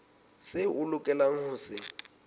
seo o lokelang ho se